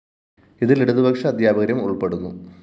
ഇതില്‍ ഇടതുപക്ഷ അധ്യാപകരും ഉള്‍പ്പെടുന്നു